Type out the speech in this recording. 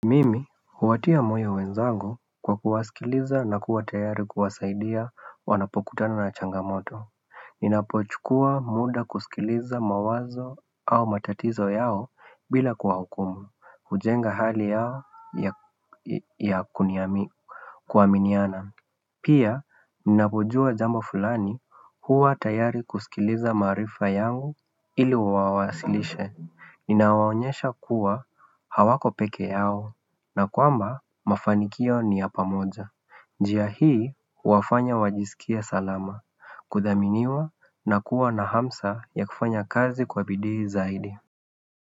Mimi huwatia moyo wenzangu kwa kuwasikiliza na kuwa tayari kuwasaidia wanapokutana na changamoto Ninapochukua muda kusikiliza mawazo au matatizo yao bila kuwahukumu hujenga hali yao ya kuniami kuaminiana Pia ninapojua jambo fulani huwa tayari kusikiliza maarifa yangu ili wawasilishe Ninawaonyesha kuwa hawako peke yao na kwamba mafanikio ni ya pamoja njia hii huwafanya wajisikia salama kudhaminiwa na kuwa na hamsa ya kufanya kazi kwa bidii zaidi.